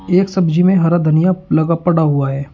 एक सब्जी में हरा धनिया लगा पड़ा हुआ है।